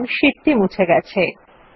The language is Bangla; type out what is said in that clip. দেখুন শীট টি মুছে গেছে